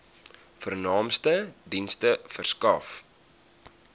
vernaamste dienste verskaf